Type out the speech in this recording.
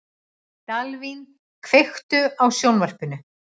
Dalvin, kveiktu á sjónvarpinu.